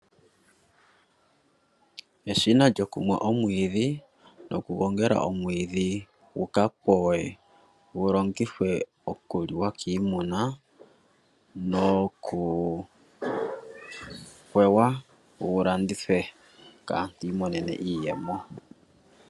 Eshina lyokumwa omwiidhi nokugongela omwiidhi guka powe gu vule oku longithwe okuliwa kiimuna nokupewa gu landithwe kaantu yiimonene iiyemo.